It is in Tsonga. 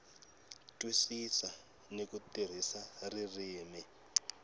twisisa ni ku tirhisa ririmi